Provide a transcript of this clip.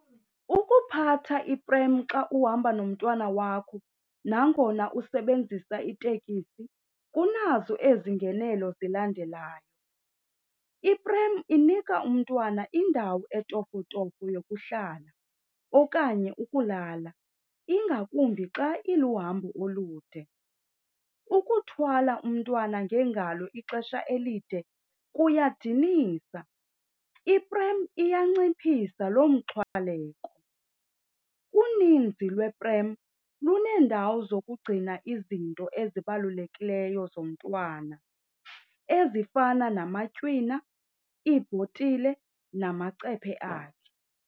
Ukuphatha ipremu xa uhamba nomntwana wakho nangona usebenzisa itekisi kunazo ezi ngenelo zilandelayo. Ipremu inika umntwana indawo etofotofo yokuhlala okanye ukulala, ingakumbi xa iluhambo olude. Ukuthwala umntwana ngeengalo ixesha elide kuyadinisa, iprem iyanciphisa loomxhwaleko. Uninzi lweepremu luneendawo zokugcina izinto ezibalulekileyo zomntwana ezifana namatywina, iibhotile namacephe akhe.